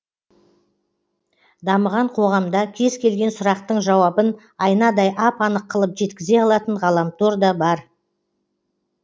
дамыған қоғамда кез келген сұрақтың жауабын айнадай ап анық қылып жеткізе алатын ғаламтор да бар